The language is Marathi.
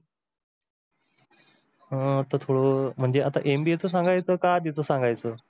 अं म्हणजे आता MBA च सांगायच की आधी च सांगायच?